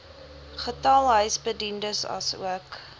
getal huisbediendes asook